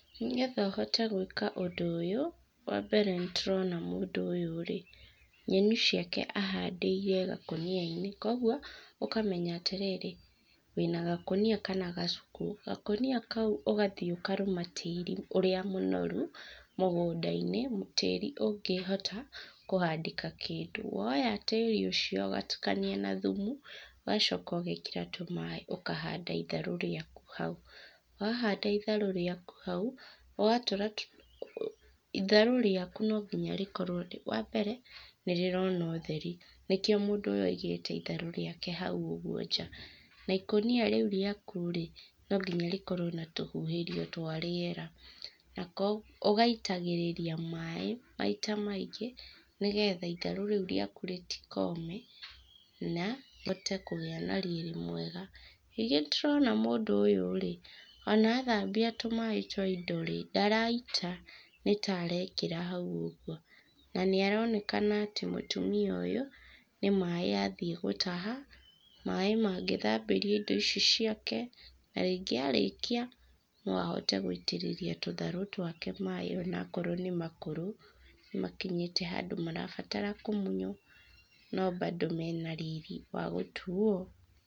Nĩgetha ũhote gwĩka ũndũ ũyũ, wambere nĩtũrona mũndũ ũyũ rĩ, nyeni ciake ahandĩire gakũniainĩ, koguo, ũkamenya atĩrĩrĩ, wĩna gakũnia kana gacuku. Gakonia kau ũgathiĩ ũkarũma tĩri ũrĩa mũnoru, mũgũndainĩ, tĩri ũngĩhota, kũhandĩka kĩndũ. Woya tĩri ũcio ũgatukania na thumu, ũgacoka ũgekĩra tũmaĩ ũkahanda itharũ rĩaku hau. Wahanda itharũ rĩaku hau, ũgatũra, tũ itharũ rĩaku nonginya rĩkorwo wambere, nĩrĩrona ũtheri, nĩkio mũndũ ũyũ aigĩte itharũ rĩake hau ũguo nja, na ikũnia rĩu rĩaku rĩ, nonginya rĩkorwo na tũhuhĩrio twa rĩera, na ũgaitagĩrĩria maĩ, maita maingĩ, nĩgetha itharũ rĩu rĩaku rĩtikome, na, rĩhote kũgĩa na riri mwega. Ningĩ tũrona mũndũ ũyũ rĩ, ona athambia tũmaĩ twa indo rĩ, ndaraita. Nĩtaarekera hau ũguo. Na nĩaronekana atĩ mũtumia ũyũ, nĩmaĩ athiĩ gũtaha, maĩ mangĩthambĩrio indo ici ciake, na rĩngĩ arĩkia, no ahote gũitĩrĩria tũtharũ twake maĩ onakorwo nĩmakũrũ, makinyĩte handũ marabatara kũmunywo, no bado mena riri wagũtuo.